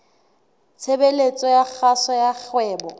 tshebeletso ya kgaso ya kgwebo